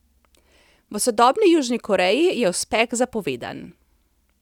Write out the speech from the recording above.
V sodobni Južni Koreji je uspeh zapovedan.